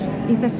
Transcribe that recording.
í þessu